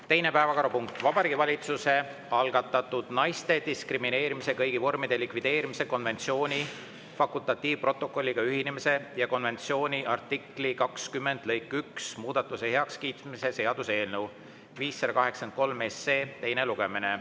Teine päevakorrapunkt: Vabariigi Valitsuse algatatud naiste diskrimineerimise kõigi vormide likvideerimise konventsiooni fakultatiivprotokolliga ühinemise ja konventsiooni artikli 20 lõike 1 muudatuse heakskiitmise seaduse eelnõu 583 teine lugemine.